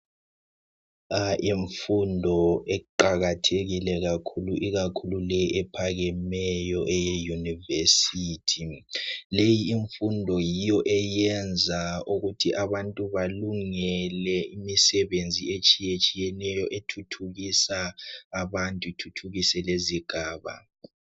Imfundo iqakathekile kakhulu, ikakhulu le ephakemeyo eye "University" leyi imfundo yiyo eyenza ukuthi abantu balungele imisebenzi etshiye tshiyeneyo ethuthukisa abantu ithuthukise lezigaba.